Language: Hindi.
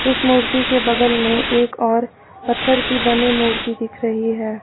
इस मूर्ति के बगल में एक और पत्थर की बनी मूर्ति दिख रही है।